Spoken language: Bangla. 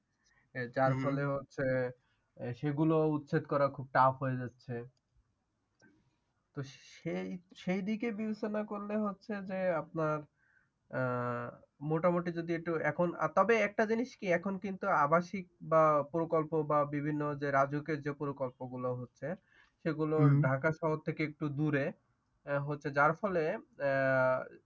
আহ মোটামুটি যদি একটু এখন তবে একটা জিনিস কি আবাসিক বা প্রকল্প বা বিভিন্ন রাজুকের যে প্রকল্পগুলো হচ্ছে সেগুলো হম ঢাকা শহর থেকে একটু দুরে হচ্ছে যার ফলে আহ